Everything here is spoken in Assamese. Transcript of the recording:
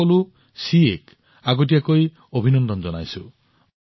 মই দেশৰ সকলো চিএক আগতীয়াকৈ অভিনন্দন জনাইছো